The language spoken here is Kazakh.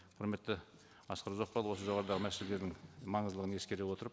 құрметті асқар ұзақбайұлы осы жоғарыдағы мәселелердің маңыздылығын ескере отырып